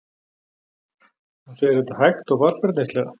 Hún segir þetta hægt og varfærnislega.